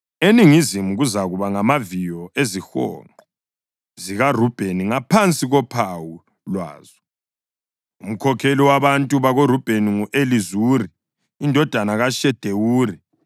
Eningizimu kuzakuba ngamaviyo ezihonqo zikaRubheni ngaphansi kophawu lwazo. Umkhokheli wabantu bakoRubheni ngu-Elizuri indodana kaShedewuri.